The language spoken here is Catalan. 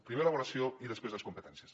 primer l’avaluació i després les competències